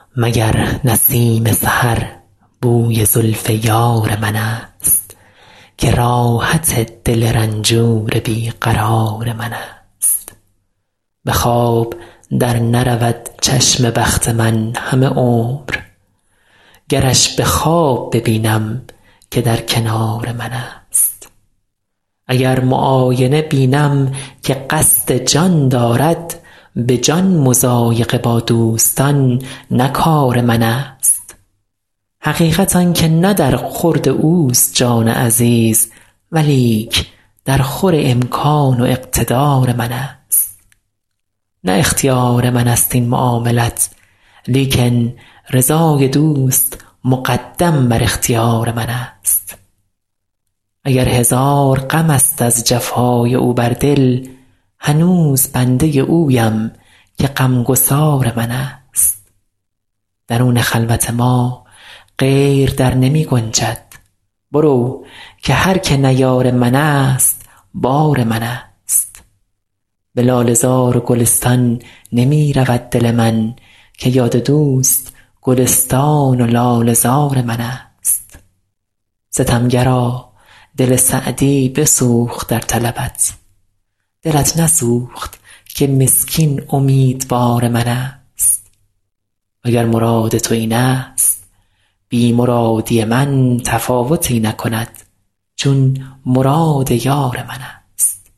مگر نسیم سحر بوی زلف یار منست که راحت دل رنجور بی قرار منست به خواب در نرود چشم بخت من همه عمر گرش به خواب ببینم که در کنار منست اگر معاینه بینم که قصد جان دارد به جان مضایقه با دوستان نه کار منست حقیقت آن که نه در خورد اوست جان عزیز ولیک درخور امکان و اقتدار منست نه اختیار منست این معاملت لیکن رضای دوست مقدم بر اختیار منست اگر هزار غمست از جفای او بر دل هنوز بنده اویم که غمگسار منست درون خلوت ما غیر در نمی گنجد برو که هر که نه یار منست بار منست به لاله زار و گلستان نمی رود دل من که یاد دوست گلستان و لاله زار منست ستمگرا دل سعدی بسوخت در طلبت دلت نسوخت که مسکین امیدوار منست و گر مراد تو اینست بی مرادی من تفاوتی نکند چون مراد یار منست